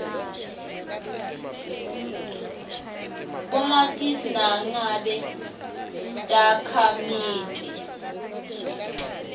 bomatisi nangabe takhamiti